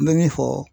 N bɛ min fɔ